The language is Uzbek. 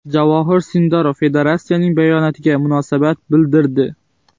Javohir Sindorov federatsiyasining bayonotiga munosabat bildirdi.